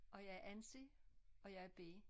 Og jeg er Ansi og jeg er B